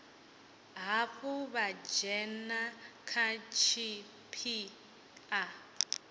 hafhu vha dzhena kha tshipiḓa